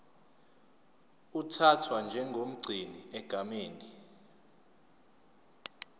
uthathwa njengomgcini egameni